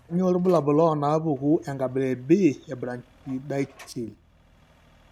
Kainyio irbulabul onaapuku enkabila e B eBrachydactyly?